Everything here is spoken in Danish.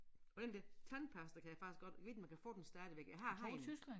Og den der tandpasta kan jeg faktisk godt ved ikke om man kan få den stadigvæk jeg har haft den